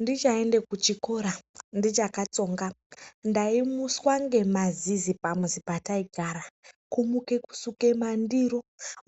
Ndichaenda kuchikora ndichakatsonga ndaimuswa ngemazizi pamuzi pataigara kumuka kusuke mandiro